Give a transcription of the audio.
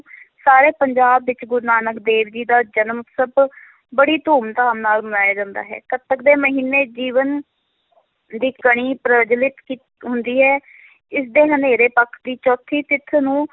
ਸਾਰੇ ਪੰਜਾਬ ਵਿੱਚ, ਗੁਰੂ ਨਾਨਕ ਦੇਵ ਜੀ ਦਾ ਜਨਮ ਉਤਸਵ ਬੜੀ ਧੂਮ ਧਾਮ ਨਾਲ ਮਨਾਇਆ ਜਾਂਦਾ ਹੈ, ਕੱਤਕ ਦੇ ਮਹੀਨੇ ਜੀਵਨ ਦੀ ਕਣੀ ਪ੍ਰਜਵੱਲਿਤ ਕੀ~ ਹੁੰਦੀ ਹੈ ਇਸ ਦੇ ਹਨੇਰੇ ਪੱਖ ਦੀ ਚੌਥੀ ਤਿਥ ਨੂੰ